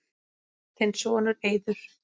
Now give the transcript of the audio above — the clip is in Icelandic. Þinn sonur, Eiður.